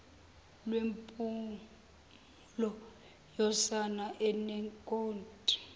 lwempumulo yosana enenkothi